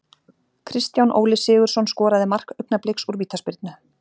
Kristján Óli Sigurðsson skoraði mark Augnabliks úr vítaspyrnu.